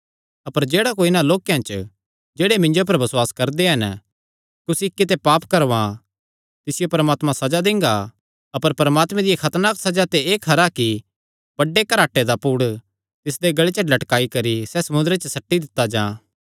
अपर जेह्ड़ा कोई इन्हां लोक्केयां च जेह्ड़े मिन्जो पर बसुआस करदे हन कुसी इक्की ते पाप करवां तिसियो परमात्मा सज़ा दिंगा अपर परमात्मे दिया खतरनाक सज़ा ते एह़ खरा कि बड्डे घराटे दा पुड़ तिसदे गल़े च लटकाई करी सैह़ समुंदरे च सट्टी दित्ता जां